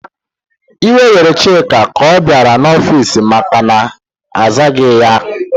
Iwe were Chika ka ọ bịara n'ọfici makana azaghị ya aza.